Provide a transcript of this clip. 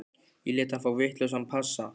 Ég lét hann fá vitlausan passa.